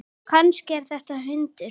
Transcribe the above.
Kannski er þetta hundur?